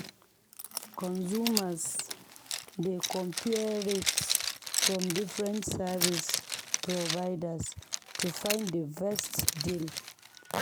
Consumers dey compare rates from different service providers to find the best deal.